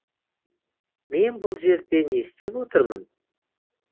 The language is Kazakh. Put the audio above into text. мен бұл жерде не істеп отырмын